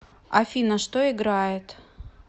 афина что играет